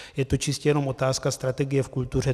Je to čistě jenom otázka strategie v kultuře.